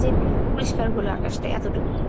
যে নাই, পরিষ্কর হলো আকাশটা এতটুকু।